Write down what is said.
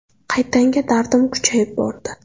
Qaytanga dardim kuchayib bordi.